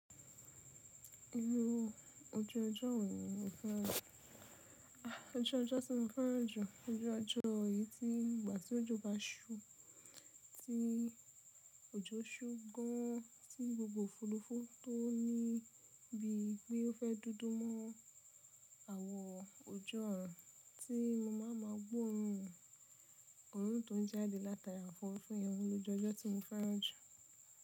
Irú ojú ọjọ́ wo ni mo fẹ́ràn. Ojú ọjọ́ tí mo fẹ́ràn jù, ojú ọjọ́ èyí tí ìgbà tí òjò bá ṣú, tí òjò ṣú gan an, tí gbogbo òfúrufú tó níbí bí i pé ó fẹ́ dúdú mọ́ àwọ̀ ojú ọ̀run tí mo máa máa gbó òórùn òórùn tó ń jáde látara àwọn òfúrufú yẹn wo ló jẹ́ ojú ọjọ́ tí mo fẹ́ràn jù.